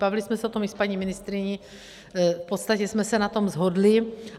Bavily jsme se o tom i s paní ministryní, v podstatě jsme se na tom shodly.